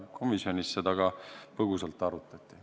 Komisjonis seda ka põgusalt arutati.